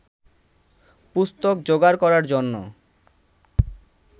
পুস্তক যোগাড় করার জন্য